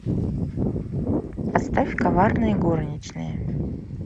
поставь коварные горничные